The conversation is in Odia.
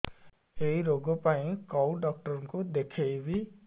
ଏଇ ରୋଗ ପାଇଁ କଉ ଡ଼ାକ୍ତର ଙ୍କୁ ଦେଖେଇବି